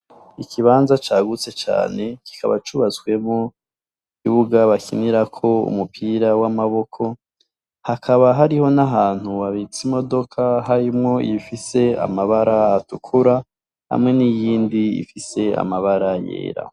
Ikibanza cagutse cane kibaba cubatsemwo ikibuga bakiniramwo umupira w'amaboko, hakaba hariho n'ahantu habitse imodoka ifise amabara atukura hamwe n'iyindi ifise amabara yera.